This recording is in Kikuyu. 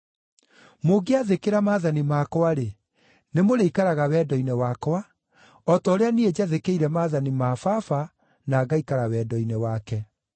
Mũngĩathĩkĩra maathani makwa-rĩ, nĩmũrĩikaraga wendo-inĩ wakwa o ta ũrĩa niĩ njathĩkĩire maathani ma Baba na ngaikara wendo-inĩ wake.